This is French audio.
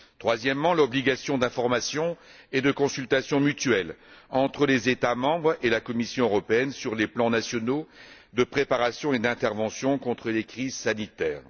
Troisièmement, l'obligation d'information et de consultation mutuelle entre les États membres et la Commission européenne sur les plans nationaux de préparation et d'intervention contre les crises sanitaires.